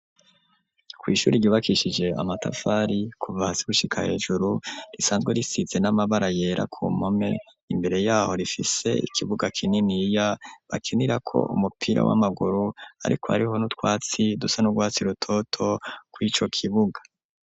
Kw'ishuri ryubakishije amatafari kuva hasi gushika hejuru, risanzwe risize n'amabara yera ku mpome, imbere y'aho rifise ikibuga kininiya bakinirako umupira w'amaguru, ariko hariho n'utwatsi dusa n'urwatsi rutoto kw'ico kibuga.